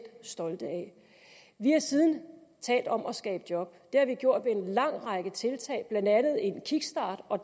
stolt af vi har siden talt om at skabe job det har vi gjort ved en lang række tiltag blandt andet en kickstart og